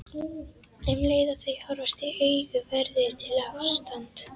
Um leið og þau horfast í augu verður til ástand.